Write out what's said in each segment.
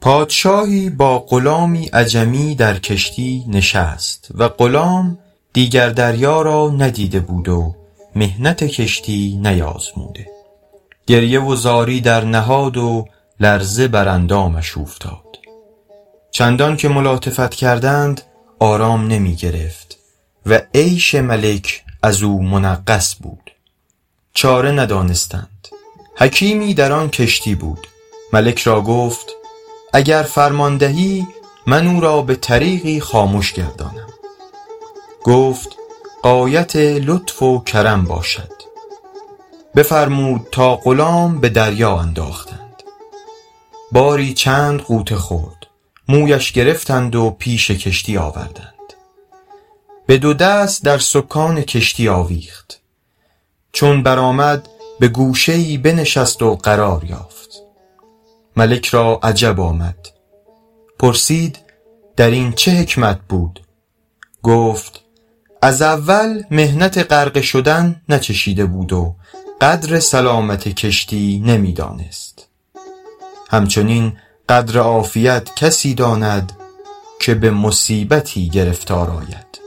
پادشاهی با غلامی عجمی در کشتی نشست و غلام دیگر دریا را ندیده بود و محنت کشتی نیازموده گریه و زاری درنهاد و لرزه بر اندامش اوفتاد چندان که ملاطفت کردند آرام نمی گرفت و عیش ملک از او منغص بود چاره ندانستند حکیمی در آن کشتی بود ملک را گفت اگر فرمان دهی من او را به طریقی خامش گردانم گفت غایت لطف و کرم باشد بفرمود تا غلام به دریا انداختند باری چند غوطه خورد مویش گرفتند و پیش کشتی آوردند به دو دست در سکان کشتی آویخت چون برآمد به گوشه ای بنشست و قرار یافت ملک را عجب آمد پرسید در این چه حکمت بود گفت از اول محنت غرقه شدن ناچشیده بود و قدر سلامت کشتی نمی دانست همچنین قدر عافیت کسی داند که به مصیبتی گرفتار آید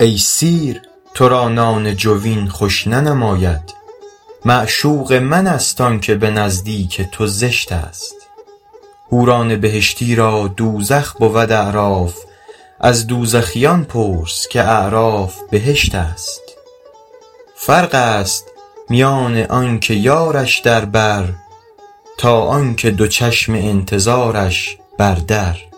ای سیر تو را نان جوین خوش ننماید معشوق من است آن که به نزدیک تو زشت است حوران بهشتی را دوزخ بود اعراف از دوزخیان پرس که اعراف بهشت است فرق است میان آن که یارش در بر تا آن که دو چشم انتظارش بر در